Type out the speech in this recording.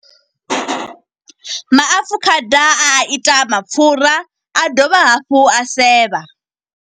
Maafukhada a ita mapfura, a dovha hafhu a sevha.